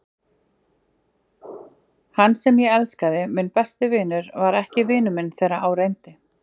Hann sem ég elskaði, minn besti vinur, var ekki vinur minn þegar á reyndi.